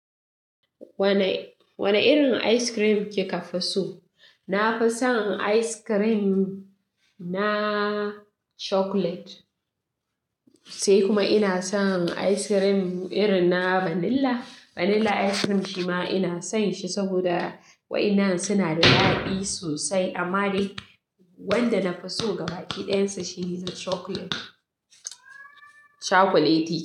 Wane, wane irin ice cream kika fi so? Na fi son ice cream na chocolate, sai kuma ina son ice cream irin na vanilla. Vanilla ice cream shi ma ina son shi saboda wa'innan suna da daɗi sosai. Amma dai wanda na fi so gabaki ɗayan sa shi ne chocolate, chocolaty.